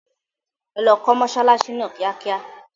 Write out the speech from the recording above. Ẹ lọ kó mọsálásí náà kíákíá.